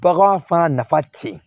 Bagan fana nafa tɛ yen